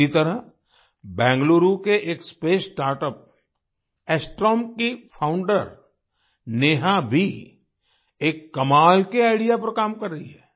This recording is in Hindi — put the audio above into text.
इसी तरह बेंगलुरु के एक स्पेस स्टार्टअप्स एस्ट्रोम की फाउंडर नेहा भी एक कमाल के आईडीईए पर काम कर रही हैं